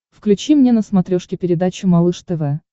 включи мне на смотрешке передачу малыш тв